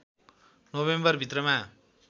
November भित्रमा